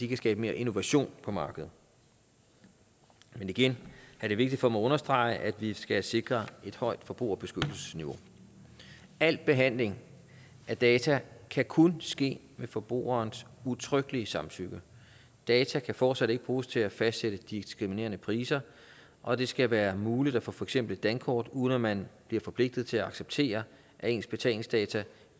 kan skabe mere innovation på markedet men igen er det vigtigt for mig at understrege at vi skal sikre et højt forbrugerbeskyttelsesniveau al behandling af data kan kun ske med forbrugerens udtrykkelige samtykke data kan fortsat ikke bruges til at fastsætte diskriminerende priser og det skal være muligt at få for eksempel dankort uden at man bliver forpligtet til at acceptere at ens betalingsdata